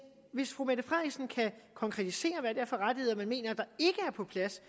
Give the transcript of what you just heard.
hvis fru mette frederiksen kan konkretisere er for rettigheder man mener ikke er på plads